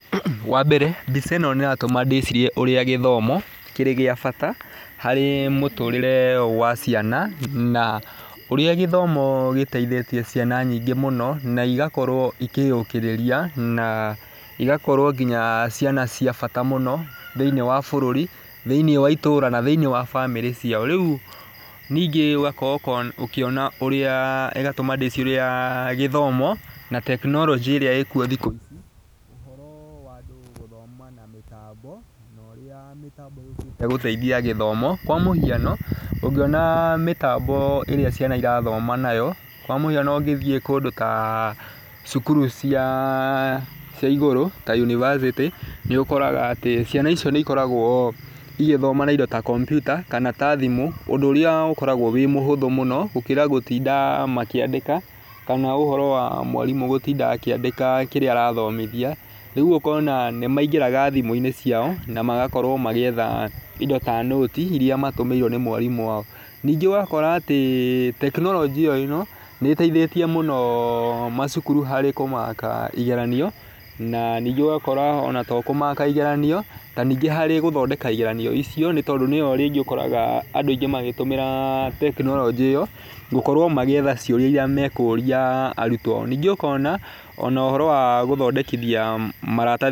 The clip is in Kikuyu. Wa mbere, mbica ĩno nĩ ĩratũma ndĩcirie ũrĩa gĩthomo kĩrĩ gĩa bata harĩ mũtũrĩre wa ciana na ũrĩa gĩthomo gĩteithĩtie ciana nyingĩ mũno, na igakorwo ikĩyũkĩrĩria na ĩgakorwo nginya ciana cia bata mũno thĩiniĩ wa bũrũri, thĩiniĩ wa itũũra na thĩiniĩ wa bamĩrĩ ciao. Rĩũ ningĩ ũgakorwo ũkiona ũrĩa ĩgatũma ndĩcirie ũrĩa gĩthomo na tekinoronjĩ ĩrĩa ĩkuo thĩkũ ici ũhoro wa andũ gũthoma na mĩtambo na ũrĩa mĩtambo yũkĩte gũteithia gĩthomo. Kwa mũhiano, ũngĩona mĩtambo ĩrĩa ciana irathoma nayo. kwa mũhiano ũngĩthiĩ kũndũ ta cukuru cia cia igũrũ ta university nĩ ũkoraga atĩ ciana icio nĩ ikoragwo igĩthoma na indo ta kompiuta kana ta thimũ, ũndũ ũrĩa ũkoragwo wĩ mũhũthũ mũno gũkĩra gũtinda makĩandĩka kana ũhoro wa mwarimũ gũtinda akĩandĩka kĩrĩa arathomithia, rĩũ ũkona nĩ maingĩraga thimũ-inĩ ciao na magakorwo magĩetha indo ta nũti iria matũmĩirwo nĩ mwarimũ wao. Ningĩ ũgakora atĩ tekinoronjĩ oĩno nĩ ĩteithĩtie mũno macukuru harĩ kũmaka igeranio na ningĩ ũgakora ona to kũmaka igeranio ta ningĩ harĩ gũthondeka igeranio icio tondũ nĩyo rĩngĩ ũkoraga andũ aingĩ magĩtũmĩra tekinoronjĩ ĩyo gũkorwo magĩetha ciũria iria mekũria arutwo ao. Ningĩ ũkona ona ũhoro wa gũthondekithia maratathi nĩ ũnyihĩte.